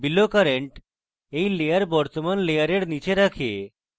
below current এই layer বর্তমান layer নীচে রাখে